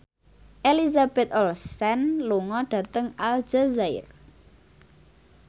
Elizabeth Olsen lunga dhateng Aljazair